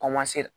Kɔmasera